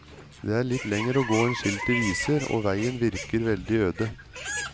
Det er litt lengre å gå enn skiltet viser og veien virker veldig øde.